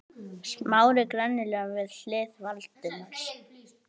Smári gremjulega við hlið Valdimars.